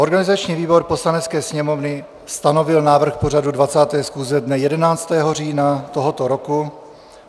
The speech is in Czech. Organizační výbor Poslanecké sněmovny stanovil návrh pořadu 20. schůze dne 11. října tohoto roku.